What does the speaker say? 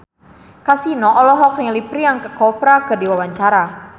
Kasino olohok ningali Priyanka Chopra keur diwawancara